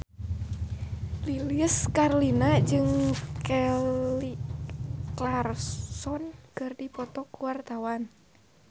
Lilis Karlina jeung Kelly Clarkson keur dipoto ku wartawan